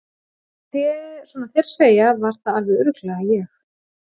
Svona þér að segja var það alveg örugglega ég